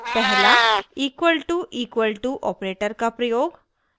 1 पहला: == equal to equal to operator का प्रयोग